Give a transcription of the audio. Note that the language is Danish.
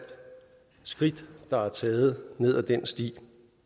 skridt der er taget ned ad den sti